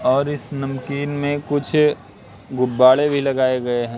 और इस नमकीन में कुछ गुब्बाड़े भी लगाए गए है।